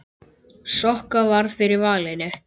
Sokka varð fyrir valinu.